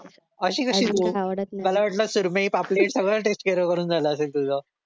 अशी कशी तू मला वाटलं सुरमई पापलेट सगळं टेस्ट करून झालं असेल तुझं